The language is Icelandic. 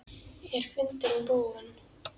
Er fundurinn búinn?